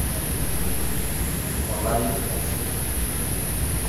Tolari musima.